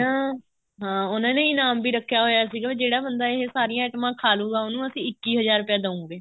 ਤੇ ਨਾ ਹਾਂ ਉਹਨਾ ਨੇ ਇਨਾਮ ਵੀ ਰੱਖਿਆ ਹੋਇਆ ਸੀਗਾ ਜਿਹੜਾ ਬੰਦਾ ਇਹ ਸਾਰੀਆਂ ਐਟਮਾ ਖਾਲੁਗਾ ਉਹਨੂੰ ਅਸੀਂ ਇੱਕੀ ਹਜ਼ਾਰ ਰੁਪਇਆ ਦਓਗੇ